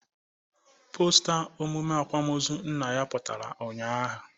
Pọsta emụme akwamaọzu nna ya putara unyaahụ